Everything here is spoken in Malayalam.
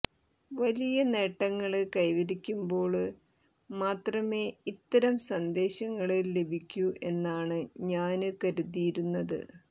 വലിയ നേട്ടങ്ങള് കൈവരിക്കുമ്പോള് മാത്രമേ ഇത്തരം സന്ദേശങ്ങള് ലഭിക്കൂ എന്നാണ് ഞാന് കരുതിയിരുന്നത്